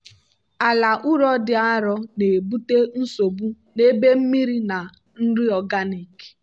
ala ụrọ dị arọ na-ebute nsogbu na-emebi mmiri na nri organic.